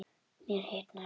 Mér hitnar.